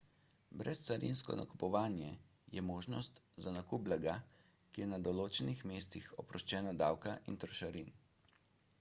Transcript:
brezcarinsko nakupovanje je možnost za nakup blaga ki je na določenih mestih oproščeno davka in trošarin